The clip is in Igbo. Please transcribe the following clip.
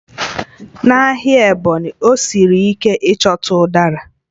N'ahịa Ebonyi, ọ siri ike ịchọta Udara